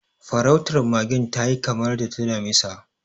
Farautar magen ta yi kamar ta damisa.